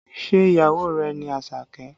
Ṣé ìyàwó rẹ ni Àṣàkẹ́?